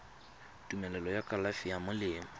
tumelelo ya kalafi ya melemo